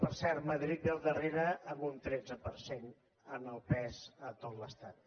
per cert madrid ve al darrere amb un tretze per cent en el pes a tot l’estat